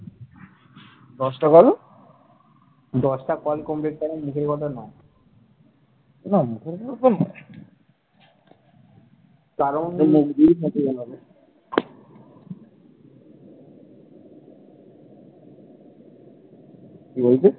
কি বলছিস?